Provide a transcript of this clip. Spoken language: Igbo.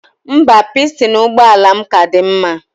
Mba, pistin ụgbọala m ka dị mma